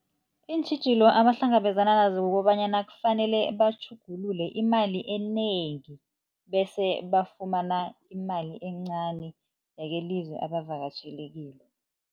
Iintjhijilo abahlangabezana nazo kukobanyana, kufanele batjhugulule imali enengi bese bafumana imali encani yakelizwe abavakatjhele kilo.